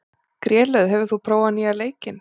Grélöð, hefur þú prófað nýja leikinn?